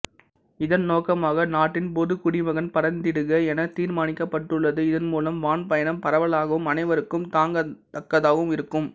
இதன் நோக்கமாக நாட்டின் பொதுக் குடிமகன் பறந்திடுக எனத் தீர்மானிக்கப்பட்டுள்ளது இதன்மூலம் வான்பயணம் பரவலாகவும் அனைவருக்கும் தாங்கத் தக்கதாகவும் இருக்கும்